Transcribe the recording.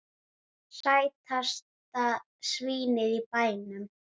Sætasta svínið í bænum!